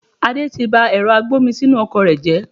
Adé tí bá ẹ̀rọ agbomisinu ọkọ̀ rẹ jẹ